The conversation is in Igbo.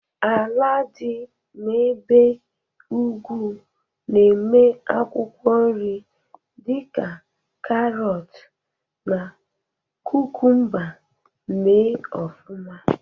ala dị n'ebe ugwu na-eme akwụkwọ nri di ka karọt na kukumba me ofuma